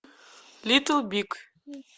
литл биг